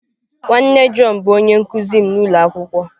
Nwanne John bụ onye nkụzi m n'ụlọ akwụkwọ.